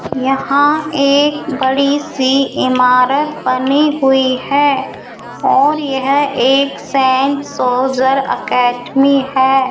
यहां एक बड़ी सी इमारत बनी हुई है और येह एक सैंड सोल्जर एकेडमी है।